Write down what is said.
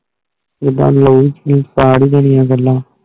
ਜਿੱਡਾ ਦੀ ਉਹ ਸੀ start ਹੋ ਜਾਂਦੀਆਂ ਗੱਲਾਂ